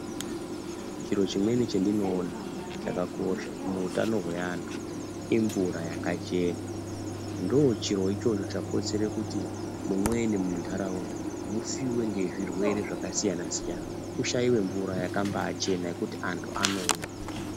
Chiro chimweni chandinoona chakakosha muutano wevantu imvura yakachena ndochiro ichocho chakonzere kuti mumweni mundaraunda musiiwe nezvirwere zvakasiyana siyana kushayiwe mvura yakambaa chena yekuti antu anomwa.